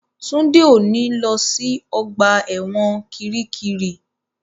Túndé ò ní lọ sí ọgbà ẹ̀wọ̀n kiríkirì